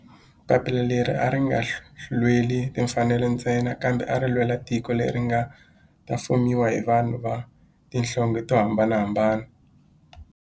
Papila leri a ri nga lweli timfanelo ntsena kambe ari lwela tiko leri nga ta fumiwa hi vanhu va tihlonge to hambanahambana.